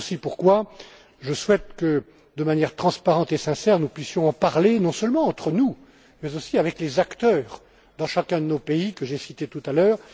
C'est pourquoi je souhaite également que, de manière transparente et sincère, nous puissions en parler, non seulement entre nous, mais aussi avec les acteurs dans chacun de nos pays, que j'ai cités tout à l'heure.